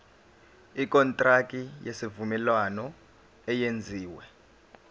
ikontraki yesivumelwano eyenziwe